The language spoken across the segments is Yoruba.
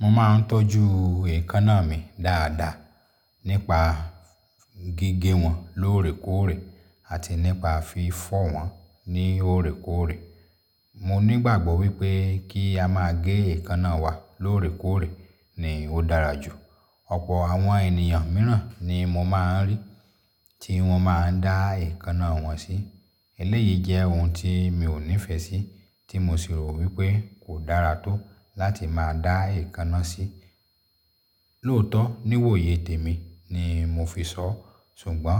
Mo ma ń tọ́jú èékánná mi dáadáa nípa gige wọn lóòrèkóòrè àti nípa fi fọ́ wọn ní òòrèkóòrè. Mo ní gbàgbọ́ wí pé kí a máa gé èékánná wa lóòrèkóòrè ni ó dára jù. Ọ̀pọ̀ àwọn ènìyàn míràn ni mo máa ń rí tí wọ́n máa ń dá èékánná wọn sí. Eléyìí jẹ́ ohun tí mi ò nífẹ̀ẹ́ sí tí mo sì rò wí pé kò dára tó láti máa dá èékánná sí. Lóòótọ́ ní ìwòyè tèmí ni mo fi sọ. Sùgbọ́n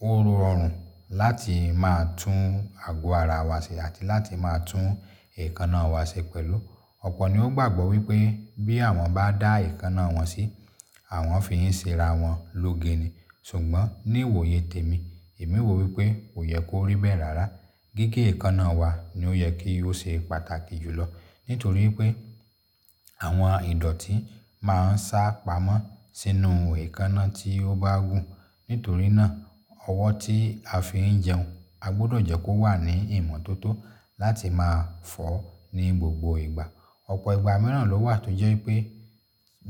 ó rọrùn láti máa tún ago ara wa ṣe àti láti máa tún èékánná wa ṣe pẹ̀lú. Ọ̀pọ̀ ni ó gbàgbọ́ wí pé bí àwọn bá dá èékánná wọn sí, àwọn fi ń ṣe ara wọn lóge ni. Sùgbọ́n ní ìwòyè tèmí, èmi wò wí pé kò yẹ kó ríbẹ̀ rárá. Gige èékánná wa ni ó yẹ kí ó ṣe pàtàkì jùlọ. Nítorí pé àwọn ìdọ̀tí máa ń sá pamọ́ sínú èékánná tí ó bá gùn. Nítorí náà, ọwọ́ tí a fi ń jẹun a gbọdọ̀ jẹ́ kó wà ní ìmọ́tótó láti máa fọ̀ ní gbogbo ìgbà. Ọ̀pọ̀ ìgbà mìíràn ló wà tó jẹ́ pé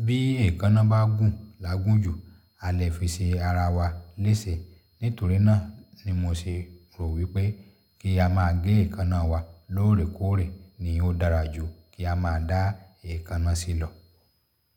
bí èékánná bá gùn lágún jù, a lè fi ṣe ara wa léṣe. Nítorí náà ni mo ṣe rò wí pé kí a máa gé èékánná wa lóòrèkóòrè ni ó dára jù kí a máa dá èékánná sí lọ.